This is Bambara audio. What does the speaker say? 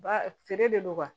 Ba feere de don wa